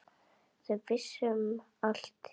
Þau vissu um allt hérna.